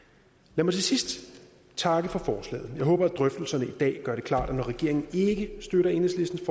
lad mig til sidst takke for forslaget jeg håber at drøftelserne i dag gør det klart at når regeringen ikke støtter enhedslistens